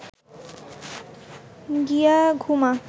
গিয়া ঘুমা